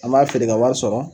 An b'a feere ka wari sɔrɔ